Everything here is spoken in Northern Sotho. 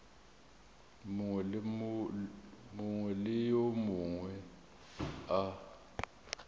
mongwe le yo mongwe a